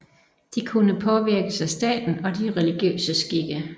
De kunne påvirkes af staten og de religiøse skikke